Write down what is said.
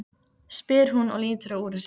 spyr hún og lítur á úrið sitt.